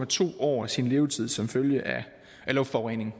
to år af sin levetid som følge af luftforurening